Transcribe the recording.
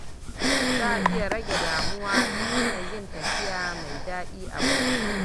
Za a iya rage damuwa ta hanyar yin tafiya mai daɗi a waje.